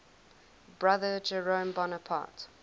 brother jerome bonaparte